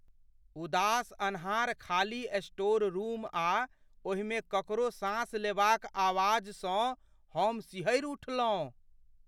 उदास अन्हार खाली स्टोर रूम आ ओहिमे ककरो साँस लेबाक आवाजसँ हम सिहरि उठलहुँ।